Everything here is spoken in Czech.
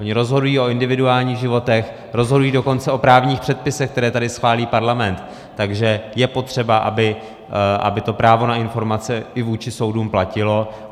Ony rozhodují o individuálních životech, rozhodují dokonce o právních předpisech, které tady schválí parlament, takže je potřeba, aby to právo na informace i vůči soudům platilo.